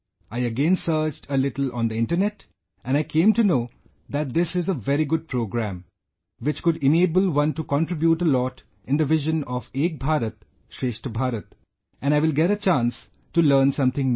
I again searched a little on the internet, and I came to know that this is a very good program, which could enable one to contribute a lot in the vision of Ek Bharat Shreshtha Bharat and I will get a chance to learn something new